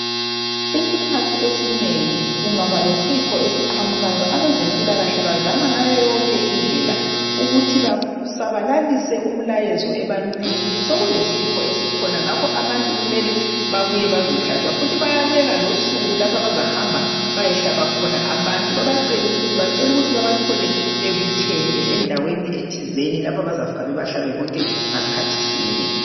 Isikhathi esinengi kungaba lesifo esiqhamukayo abezempilakahle bazama ngendlela zonke ukuthi basabalalise umbiko ebantwini ukuthi abantu babuye bazohlatshwa njalo bayabeka losuku lapha azahamba khona bayehlaba abantu babacele ukuthi babathole bebuthene endawenithizeni lapho abazafika babahle ndawonye.